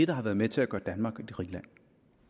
der har været med til at gøre danmark til et rigt land